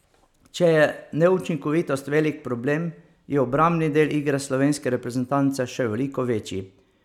Če je neučinkovitost velik problem, je obrambni del igre slovenske reprezentance še veliko večji.